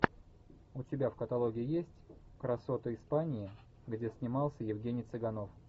у тебя в каталоге есть красоты испании где снимался евгений цыганов